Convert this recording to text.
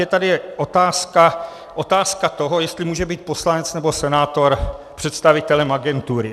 Je tady otázka toho, jestli může být poslanec nebo senátor představitelem agentury.